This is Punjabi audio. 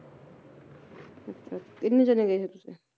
ਅੱਛਾ ਇੰਨੇ ਜਾਣੇ ਗਏ ਸੀ ਤੁਸੀ